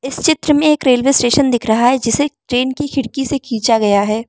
इस चित्र में एक रेलवे स्टेशन दिख रहा है जिसे एक ट्रेन की खिड़की से खींचा गया है।